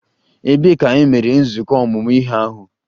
Ebee ka e mere nzukọ ọmụmụ ihe ahụ?